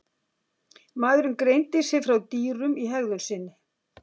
Maðurinn greindi sig frá dýrum í hegðun sinni.